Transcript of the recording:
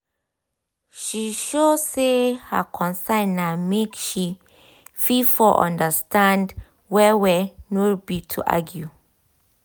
she show say her concern na make she for fit undnerstand well well nor be to argue